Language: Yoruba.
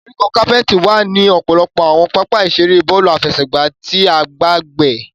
Koríko capeti wa ni ọpọlọpọ awọn papa-iṣere bọọlu afẹsẹgba ti agbegbe.